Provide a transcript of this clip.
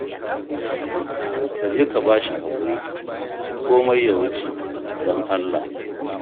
Ka je ka ba shi haƙuri, komai ya wuce, don Allah